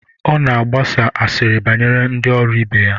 Ọ nọ na-agbasa asịrị banyere ndị ọrụ ibe ya.